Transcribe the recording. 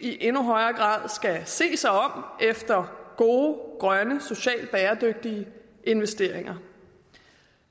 i endnu højere grad skal se sig om efter gode grønne socialt bæredygtige investeringer